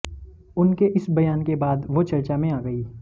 उनके इस बयान के बाद वो चर्चा में आ गई